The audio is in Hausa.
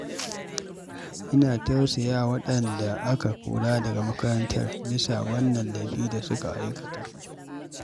Ina tausaya wa waɗanda aka kora daga makarantar bisa wannan laifi da suka aikata.